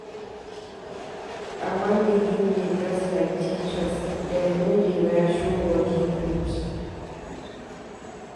I wan begin dey dress like teachers, dem no dey wear show bodi cloth.